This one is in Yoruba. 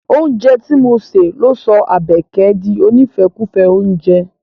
Oúnjẹ ti mo se ló sọ Àbẹ̀kẹ̀ di onífẹ́kùfẹ́ oúnjẹ.